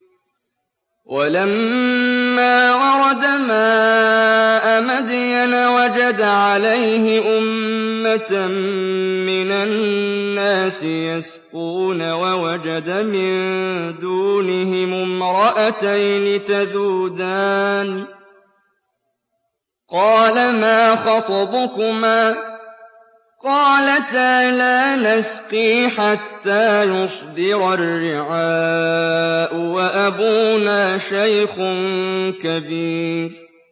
وَلَمَّا وَرَدَ مَاءَ مَدْيَنَ وَجَدَ عَلَيْهِ أُمَّةً مِّنَ النَّاسِ يَسْقُونَ وَوَجَدَ مِن دُونِهِمُ امْرَأَتَيْنِ تَذُودَانِ ۖ قَالَ مَا خَطْبُكُمَا ۖ قَالَتَا لَا نَسْقِي حَتَّىٰ يُصْدِرَ الرِّعَاءُ ۖ وَأَبُونَا شَيْخٌ كَبِيرٌ